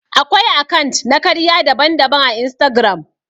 Akwai akant na karya daban-daban à Instagram.